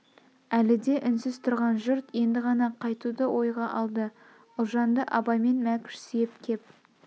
әлі де үнсіз тұрған жұрт енді ғана қайтуды ойға алды ұлжанды абай мен мәкш сүйеп кеп